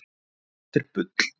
En það er bull.